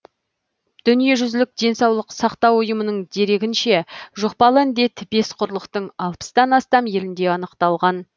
дүниежүзілік денсаулық сақтау ұйымының дерегінше жұқпалы індет бес құрлықтың алпыстан астам елінде анықталған